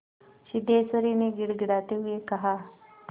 सिद्धेश्वरी ने गिड़गिड़ाते हुए कहा